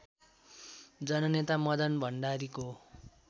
जननेता मदन भण्डारीको